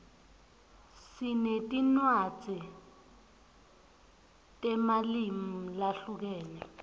sinetinwadzi temalimu lahlukene